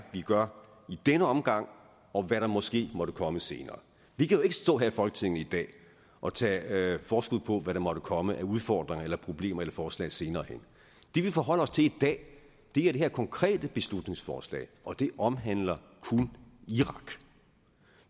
vi gør i denne omgang og hvad der måske måtte komme senere vi kan jo ikke stå her i folketinget i dag og tage forskud på hvad der måtte komme af udfordringer eller problemer eller forslag senere hen det vi forholder os til i dag er det her konkrete beslutningsforslag og det omhandler kun irak